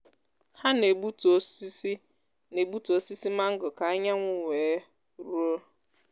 ha na-egbutu osisi na-egbutu osisi mango ka anyanwụ wee ruo.